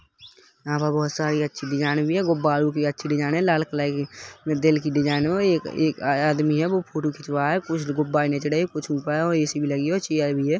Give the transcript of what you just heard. यहाँ पर बहुत सारी अच्छी डिजाइन भी है गुब्बारो भी अच्छी डिजाइन है लाल कलर कि दिल के डिजाइन है एक एक आदमी है वो फोटो खिचवा रहा है कुछ गुब्बारे नीचे है और कुछ ऊपर और ए_सी भी लगी है और चेयर भी है।